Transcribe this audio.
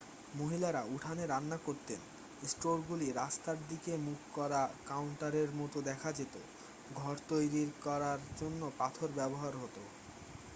মহিলারা উঠোনে রান্না করতেন স্টোরগুলি রাস্তার দিকে মুখ করা কাউন্টারের মতো দেখা যেত ঘর তৈরির করার জন্য পাথর ব্যবহার হত